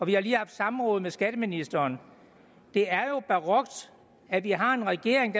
vi har lige haft samråd med skatteministeren og det er jo barokt at vi har en regering